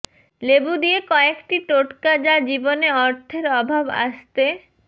লেবু দিয়ে কয়েকটি টোটকা যা জীবনে অর্থের অভাব আসতে